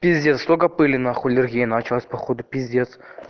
пиздец сколько пыли нахуй аллергия началась походу пиздец